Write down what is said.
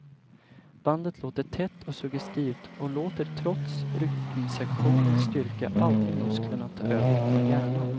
Bandet låter tätt och suggestivt och låter trots rytmsektionens styrka aldrig musklerna ta över från hjärnan.